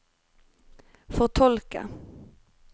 fortolke